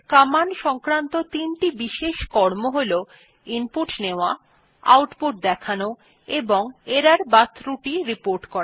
command সংক্রান্ত তিনটি বিশেষ কর্ম হল ইনপুট নেওয়া আউটপুট দেখানো এবং এরর বা ত্রুটি রিপোর্ট করা